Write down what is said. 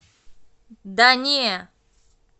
да не